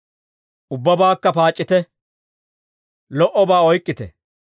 Ubbabaakka paac'c'ite. Lo"obaa oyk'k'ite.